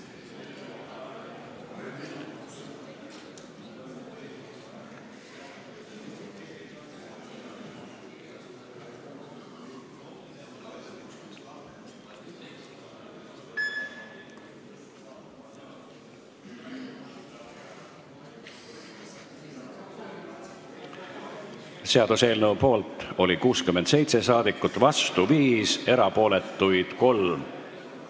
Hääletustulemused Seaduseelnõu poolt oli 67 ja vastu 5 rahvasaadikut, erapooletuid oli 3.